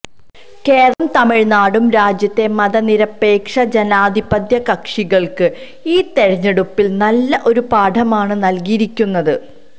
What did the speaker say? കേരളവും തമിഴ്നാടും രാജ്യത്തെ മതനിരപേക്ഷ ജനാധിപത്യ കക്ഷികള്ക്ക് ഈ തെരഞ്ഞെടുപ്പില് നല്ല ഒരു പാഠമാണ് നല്കിയിരിക്കുന്നത്